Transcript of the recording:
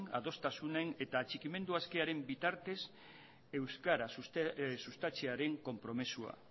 adostasunen eta atxikimendu askearen bitartez euskara sustatzearen konpromisoa